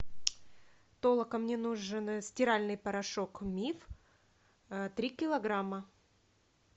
толока мне нужен стиральный порошок миф три килограмма